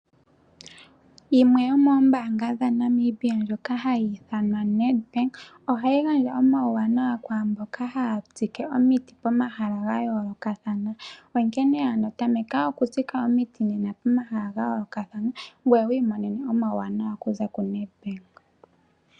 Yimwe yomoombaanga dhaNamibia ndjoka hayi ithanwa Nedbank, ohayi gandja omawuwanawa kwamboka haya tsike omiti pomahala gayoolokathana, onkene ano tameka okutsika omiti nena pomahala gayoolokathana ngoye wiimonene omawuwanawa okuza koNedbank.